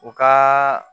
U ka